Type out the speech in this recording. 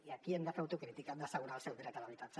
i aquí hem de fer autocrítica hem d’assegurar el seu dret a l’habitatge